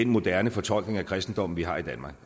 moderne fortolkning af kristendommen vi har i danmark